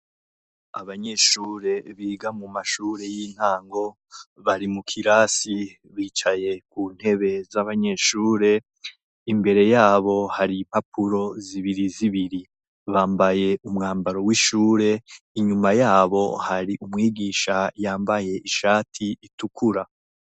Abanyeshure biga mu mashure y'intango bari mu kirasi bicaye ku ntebe z'abanyeshure, imbere yabo hari impapuro zibiri zibiri, bambaye umwambaro w'ishure, inyuma yabo hari umwigisha yambaye ishati itukura.